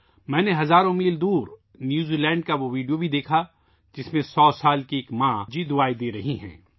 میں نے ہزاروں میل دور نیوزی لینڈ کی وہ ویڈیو بھی دیکھی ، جس میں ایک سو سال کی بزرگ ماتا جی اپنا آشیرواد دے رہی ہیں